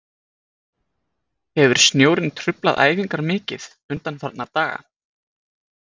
Hefur snjórinn truflað æfingar mikið undanfarna daga?